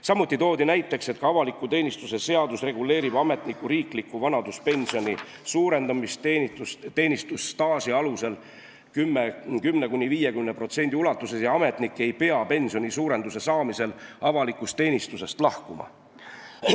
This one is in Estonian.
Samuti toodi näiteks, et ka avaliku teenistuse seadus reguleerib ametniku riikliku vanaduspensioni suurendamist teenistusstaaži alusel 10%–50% ulatuses ja ametnik ei pea pensioni suurenduse saamisel avalikust teenistusest lahkuma.